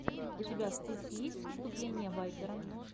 у тебя в списке есть выступление вайпера